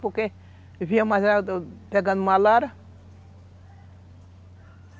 Porque eu viu a, pegando malária.